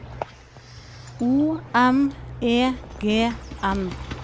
O M E G N